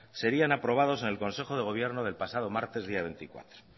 serían aprobados en el consejo de gobierno del pasado martes día veinticuatro